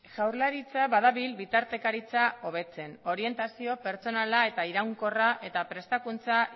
jaurlaritza badabil bitartekaritza hobetzen orientazio pertsonala eta iraunkorra eta prestakuntza